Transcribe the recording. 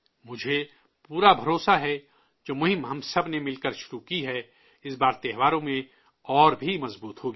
مجھے پورا بھروسہ ہے کہ جو مہم ہم سب نے مل کر شروع کی ہے، اس بار تہواروں میں اور بھی مضبوط ہوگی